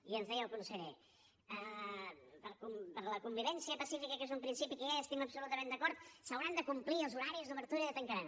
i ens deia el conseller per la convivència pacífica que és un principi que ja hi estem absolutament d’acord s’hauran de complir els horaris d’obertura i de tancament